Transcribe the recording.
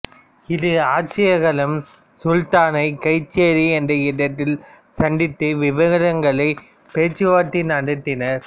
இரு ஆட்சியாளர்களும் சுல்தானை கய்சேரி என்ற இடத்தில் சந்தித்து விவரங்களை பேச்சுவார்த்தை நடத்தினர்